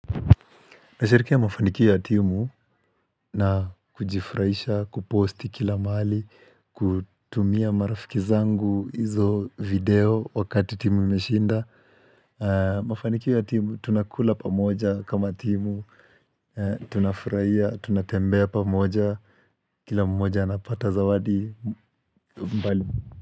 Nasherehekea mafanikio ya timu na kujifurahisha, kuposti kila mahali, kutumia marafiki zangu hizo video wakati timu imeshinda. Mafanikio ya timu tunakula pamoja kama timu, tunafurahia, tunatembea pamoja, kila mmoja anapata zawadi mbali.